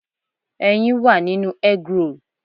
Ẹyin wà nínú eggroll.